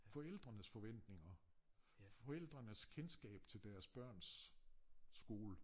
Forældrenes forventninger forældrenes kendskab til deres børns skole